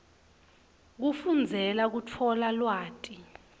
kufundzela kutfola lwati